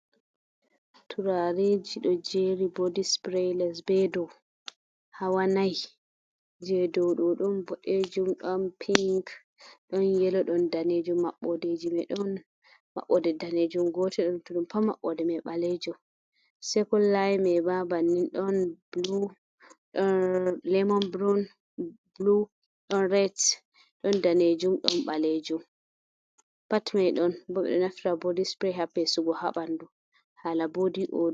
Turareji do jeri body spray les be dau hawa nai, je dau ɗo ɗon boɗejum, ɗon pink, don yelo, don danejum, maɓɓodeji mai ɗon maɓɓode danejum gotel don tudum pat maɗɗode mai ɓalejum, sekun layi mai ba ban nin ɗon blu, ɗon lemon blu, ɗon ret, ɗon danejum, ɗon ɓalejum pat mai ɗon bo ɓe ɗo naftira body spray ha pesugo ha bandu hala bodi odo.